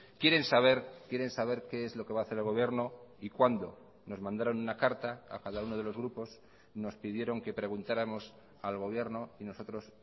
quieren saber quieren saber qué es lo que va a hacer el gobierno y cuándo nos mandaron una carta a cada uno de los grupos nos pidieron que preguntáramos al gobierno y nosotros